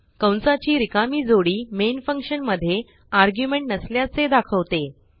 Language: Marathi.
कंसाची रिकामी जोडी मेन फंक्शन मधे आर्ग्युमेंट नसल्याचे दाखवते